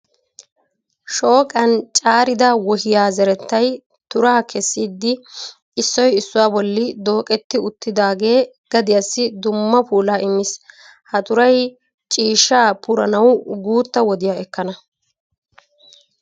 Shooqan caarida wohiya zerettay turaa kessidi issoy issuwa bolli dooqetti uttidaagee gadiyassi dumma puulaa immiis. Ha turay ciishshaa puranawu guutta wodiya ekkana.